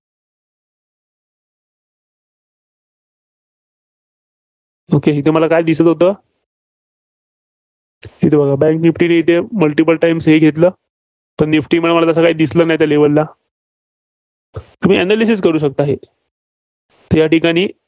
okay मला इथं काय दिसतं होत? इथं बघा bank निफ्टीने इथं multiple times हे घेतलं. तर निफ्टीमध्ये मला तसं काही दिसलं नाही, त्या level ला. तुम्ही anlysis करू शकता हे. या ठिकाणी.